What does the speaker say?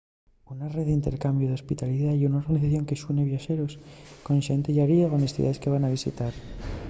una rede d’intercambiu d’hospitalidá ye una organización que xune viaxeros con xente llariego nes ciudaes que van visitar